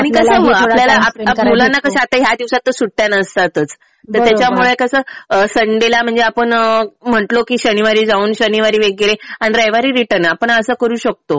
आणि कसं आपल्याला मुलांना या दिवसात तर सुट्ट्या नसतातच. त्याच्यामुळे कसं संडेला म्हणजे आपण म्हणलं कि शनिवारी जाऊन शनिवारी वगैरे आणि रविवारी रिटर्न आपण असं करू शकतो.